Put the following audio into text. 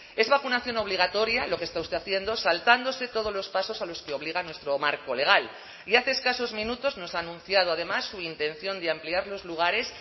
es vacunación obligatoria lo que está usted haciendo saltándose todos los pasos a los que obliga a nuestro marco legal y hace escasos minutos nos ha anunciado además su intención de ampliar los lugares